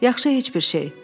Yaxşı, heç bir şey.